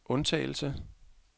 undtagelse